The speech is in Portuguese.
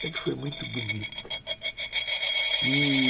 Sempre foi muito bonita.